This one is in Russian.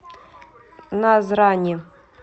назрани